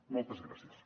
moltes gràcies